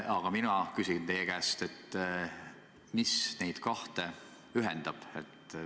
Aga mina küsin teie käest, mis neid kahte ühendab.